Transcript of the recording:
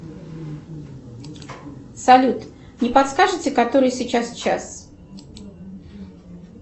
салют не подскажете который сейчас час